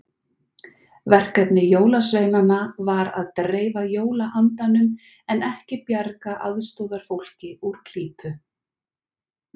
Verkefni jólasveinanna var að dreifa jólaandanum en ekki bjarga aðstoðarfólki úr klípu.